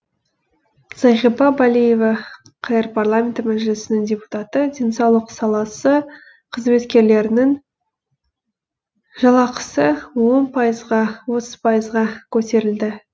зағипа балиева қр парламенті мәжілісінің депутаты денсаулық саласы қызметкерлерінің жалақысы он пайызға отыз пайызға көтерілді